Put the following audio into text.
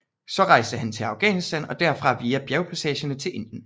Så rejste han til Afghanistan og derfra via bjergpassene til Indien